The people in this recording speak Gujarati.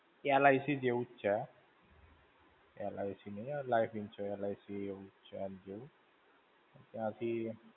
LIC જેવું જ છે. LIC નહીં લ્યા Life Insurance LIC એવું જ છે, આન જેવું. તયાંથી.